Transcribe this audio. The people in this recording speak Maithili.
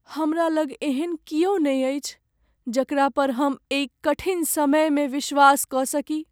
हमरा लग एहन कियो नहि अछि जकरा पर हम एहि कठिन समयमे विश्वास कऽ सकी।